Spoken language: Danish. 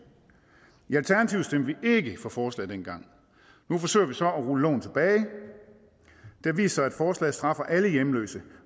i vi ikke for forslaget dengang og nu forsøger vi så at rulle loven tilbage det har vist sig at forslaget straffer alle hjemløse